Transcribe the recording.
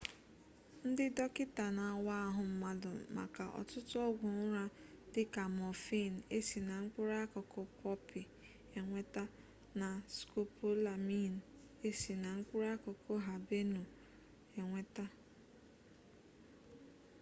ndị dọkịta na-awa ahụ mabu maka ọtụtụ ọgwụ ụra dịka mọfịịn e si na mkpụrụakụkụ pọpị enweta na skopolamiin e si na mkpụrụakụkụ habenụ enweta